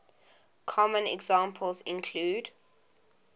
common examples include